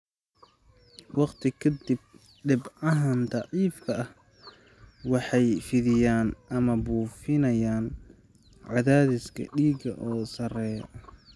Waqti ka dib, dhibcahan daciifka ah waxay fidiyaan ama buufinayaan cadaadiska dhiigga oo sarreeya.